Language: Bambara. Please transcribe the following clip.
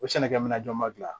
O sɛnɛkɛminɛn jɔn ma gilan